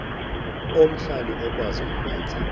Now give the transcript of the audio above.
omhlali okwazi ukwenza